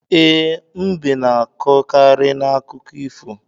E, mbe na-anọkarị n'akụkọ ifo